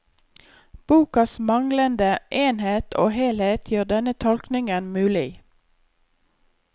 Bokas manglende enhet og helhet gjør denne tolkningen mulig.